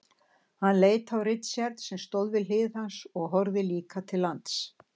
Hann leit á Richard sem stóð við hlið hans og horfði líka til lands.